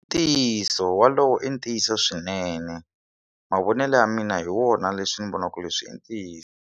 Ntiyiso wolowo i ntiyiso swinene mavonelo ya mina hi wona leswi ni vonaka leswi i ntiyiso.